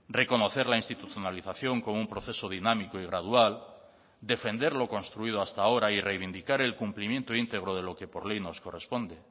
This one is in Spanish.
reconocer la institucionalización como un proceso dinámico y gradual defender lo construido hasta ahora y reivindicar el cumplimiento integro de lo que por ley nos corresponde